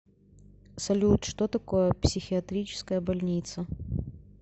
салют что такое психиатрическая больница